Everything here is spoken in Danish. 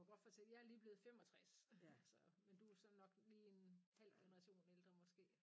Må godt fortælle jeg er lige blevet 65 så men du er så nok lige en halv generation ældre måske